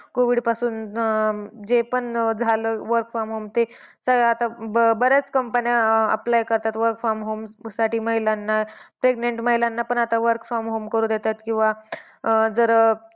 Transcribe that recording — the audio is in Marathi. COVID पासून अं जे पण झालं work from home ते आता बऱ्याच companies apply करतात work from home साठी महिलांना. Pregnant महिलांना पण आता work from home करू देतात. किंवा अह जर